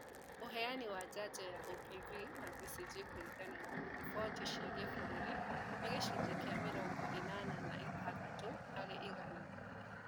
Ũheani wa njanjo ya OPV na BCG kũringana na riboti cia kĩ-bũrũri nĩ gĩcunjĩ kĩa mĩrongo ĩnana na ithathatũ harĩ igana